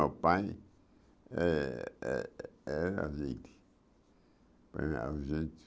Meu pai eh eh era